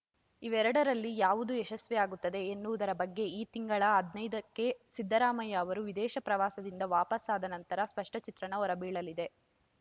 ಇವೆರಡರಲ್ಲಿ ಯಾವುದು ಯಶಸ್ವಿಯಾಗುತ್ತದೆ ಎನ್ನುವುದರ ಬಗ್ಗೆ ಈ ತಿಂಗಳ ಹದಿನೈದುಕ್ಕೆ ಸಿದ್ದರಾಮಯ್ಯ ಅವರು ವಿದೇಶ ಪ್ರವಾಸದಿಂದ ವಾಪಸಾದ ನಂತರ ಸ್ಪಷ್ಟಚಿತ್ರಣ ಹೊರಬೀಳಲಿದೆ